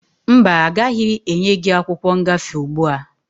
Mba, agaghị enye gị akwụkwọ ngafe ugbua.